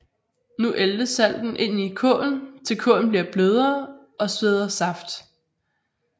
Nu æltes salten ind i kålen til kålen bliver blødere og sveder saft